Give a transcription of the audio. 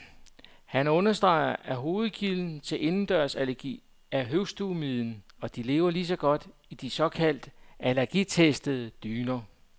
Han understreger, at hovedkilden til indendørsallergi er husstøvmiden, og de lever lige så godt i de såkaldt allergitestede dyner.